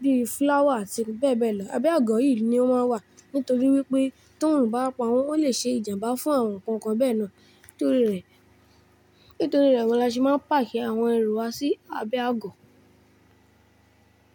bíi flower àti bẹ́ẹ̀bẹ́ẹ̀ lọ. Abẹ́ àgọ́ yìí ni ó máa wà nítorí wípé tóorun bá pa wọ́n, ó lè ṣe ìjàmbá fún àwọn nkankan bẹ́ẹ̀ náà. Nítorí rẹ̀, nítorí rẹ̀ gan an la ṣe máa ń páàkì àwọn ẹrù wa sí abẹ́ àgọ́.